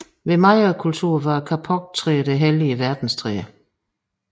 Hos Mayakulturen var kapoktræet det hellige verdenstræ